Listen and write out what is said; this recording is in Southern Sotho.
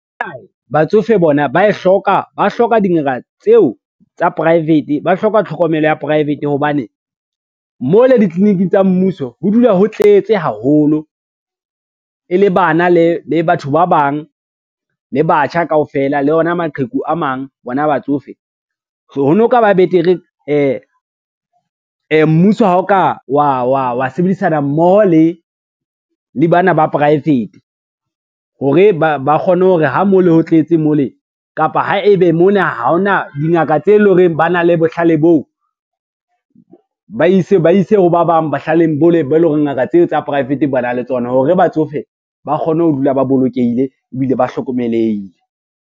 Batsofe bona hloka tlhokomelo ya private, hobane mo le ditliliniking tsa mmuso ho dula ho tletse haholo e le bana le batho ba bang le batjha kaofela, le ona maqheku a mang bona batsofe. So ho no ka ba betere mmuso ha o ka wa sebedisana mmoho le bana ba poraefete hore ba kgone hore ha mo le ho tletse mole kapa ha ebe mona ha ona dingaka tse leng hore ba na le bohlale boo, ba ise ho ba bang bohlaleng bo leng bo e lo reng ngaka tseo tsa poraefete ba na le tsona, hore batsofe ba kgone ho dula ba bolokehile ebile ba hlokomelehile.